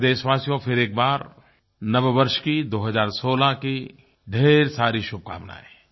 प्यारे देशवासियो फिर एक बार नव वर्ष की 2016 की ढेर सारी शुभकामनायें